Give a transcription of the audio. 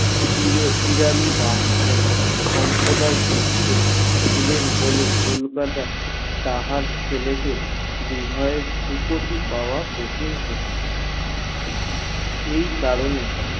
পিরালি ব্রাহ্মণ সম্প্রদায় ছিলেন বলে কলকাতায় তাহার ছেলে কে কঠিন ছিল এই কারণে